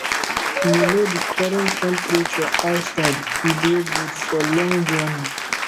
you know di current temperature outside e dey good for long journey